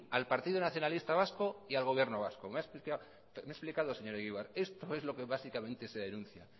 al partido nacionalista vasco y al gobierno vasco me he explicado señor egibar esto es lo que básicamente se denuncia